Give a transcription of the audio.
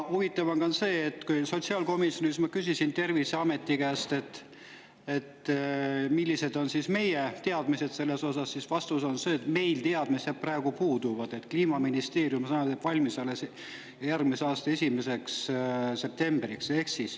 Huvitav on veel see, et kui ma sotsiaalkomisjonis küsisin Terviseameti käest, millised on meie teadmised selle kohta, siis vastus oli see, et meil praegu teadmised puuduvad ja Kliimaministeerium alles järgmise aasta 1. septembriks.